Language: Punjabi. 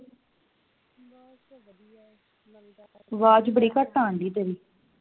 ਆਵਾਜ ਬੜੀ ਘੱਟ ਆਣ ਦਈ ਤੇਰੀ